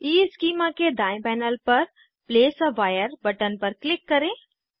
schema के दायें panel पर प्लेस आ वायर बटन पर क्लिक करें